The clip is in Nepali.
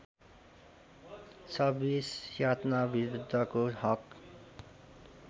२६ यातनाविरुद्धको हक